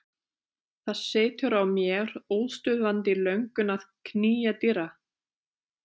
Það setur að mér óstöðvandi löngun að knýja dyra.